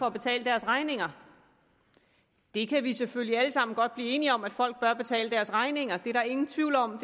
at betale deres regninger vi kan selvfølgelig alle sammen godt blive enige om at folk bør betale deres regninger det er der ingen tvivl om